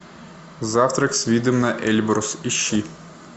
завтрак с видом на эльбрус ищи